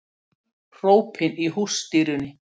Hrópin í hússtýrunni